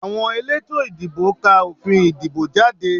Àwọn elétò ìdìbò ká òfin ìdìbò jáde